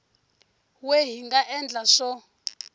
we hi nga endla swo